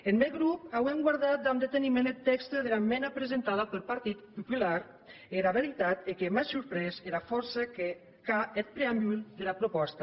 eth mèn grop auem guardat damb deteniment eth tèxte dera esmenda presentada peth partit popular e era vertat ei que m’a surprés era fòrça qu’a eth preambul dera propòsta